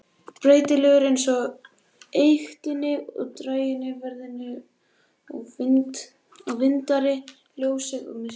Breytilegur eins og eyktirnar og dægrin, veðrið og vindarnir, ljósið og myrkrið.